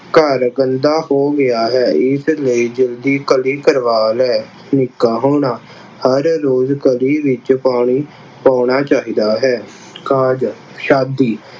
ਘਰ ਗੰਦਾ ਹੋ ਗਿਆ ਹੈ ਇਸ ਲਈ ਜਲਦੀ ਕਲੀ ਕਰਵਾ ਲੈ। ਹਰ ਰੋਜ਼ ਕਲੀ ਵਿੱਚ ਪਾਣੀ ਪਾਉਣਾ ਚਾਹੀਦਾ ਹੈ। ਕਾਜ ਸ਼ਾਦੀ